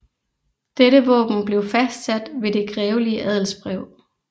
Dette våben blev fastsat ved det grevelige adelsbrev